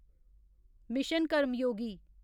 mission Karmayogi